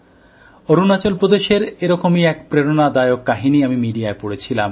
অরুণাচল প্রদেশের এরকমই এক প্রেরণাদায়ক কাহিনী আমি মিডিয়ায় পড়েছিলাম